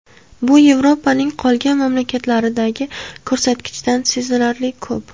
Bu Yevropaning qolgan mamlakatlaridagi ko‘rsatkichdan sezilarli ko‘p.